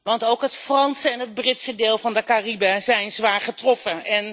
Want ook het Franse en het Britse deel van de Cariben zijn zwaar getroffen.